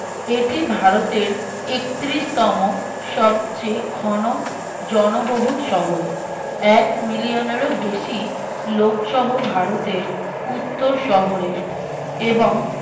এটি ভারতের একত্রিশতম সবচেয়ে ঘন জনবহুল শহর এক million এর বেশি লোকসহ ভারতের উত্তর শহরের